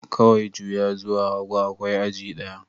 Kawai juya zuwa hagu, akwai aji ɗaya.